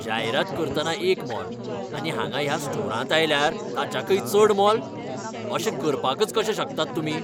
जायरात करतना एक मोल आनी हांगां ह्या स्टोरांत आयल्यार ताच्याकय चड मोल? अशें करपाकच कशे शकतात तुमी?